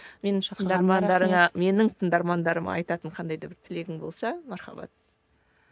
менің тыңдармандарыма айтатын қандай да бір тілегің болса мархабат